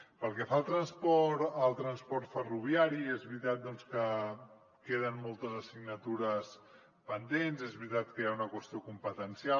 pel que fa al transport ferroviari és veritat que queden moltes assignatures pendents és veritat que hi ha una qüestió competencial